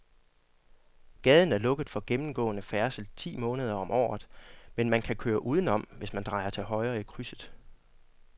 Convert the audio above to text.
Gaden er lukket for gennemgående færdsel ti måneder om året, men man kan køre udenom, hvis man drejer til højre i krydset.